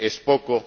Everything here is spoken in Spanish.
¿Es poco?